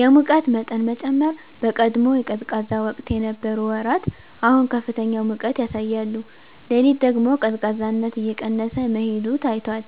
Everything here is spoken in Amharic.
የሙቀት መጠን መጨመር በቀድሞ የቀዝቃዛ ወቅት የነበሩ ወራት አሁን ከፍተኛ ሙቀት ያሳያሉ። ሌሊት ደግሞ ቀዝቃዛነት እየቀነሰ መሄዱ ታይቷል።